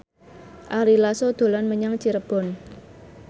Ari Lasso dolan menyang Cirebon